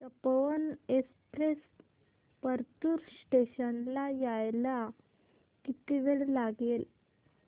Tapovan express Partur station ला यायला किती वेळ लागेल